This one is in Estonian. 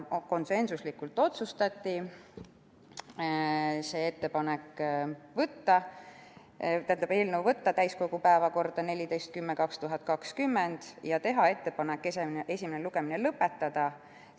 Konsensuslikult otsustati võtta eelnõu täiskogu päevakorda 14. oktoobriks 2020 ja teha ettepanek esimene lugemine lõpetada.